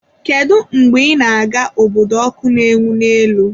Kedu mgbe ị na-aga obodo ọkụ na-enwu n'elu?